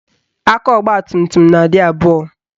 Aka ọgbatumtum na-adị abụọ